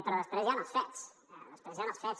però després hi han els fets després hi han els fets